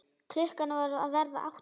Klukkan var að verða átta.